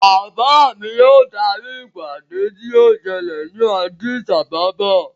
Bàbá mi yóò darí ìpàdé tí yóò ṣẹlẹ̀ ni Addis Ababa.